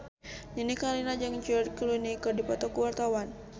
Nini Carlina jeung George Clooney keur dipoto ku wartawan